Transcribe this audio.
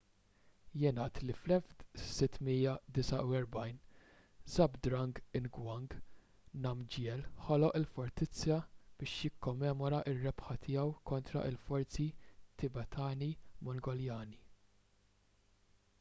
jingħad li fl-1649 zhabdrung ngawang namgyel ħoloq il-fortizza biex jikkommemora r-rebħa tiegħu kontra l-forzi tibetani-mongoljani